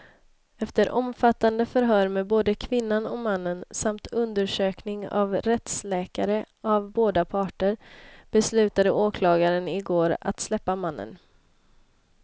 Efter omfattande förhör med både kvinnan och mannen, samt undersökning av rättsläkare av båda parter, beslutade åklagaren i går att släppa mannen.